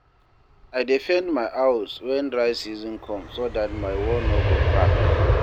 I dey paint my house wen dry season com so dat my wall no go crack